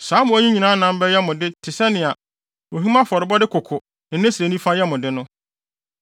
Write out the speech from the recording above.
Saa mmoa yi nyinaa nam bɛyɛ mo de te sɛnea ohim afɔrebɔde koko ne ne srɛ nifa yɛ mo de no.